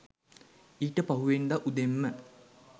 ඊට පහුවෙනිදා උදෙන්ම